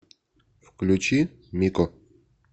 включи мико